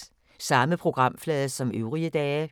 Samme programflade som øvrige dage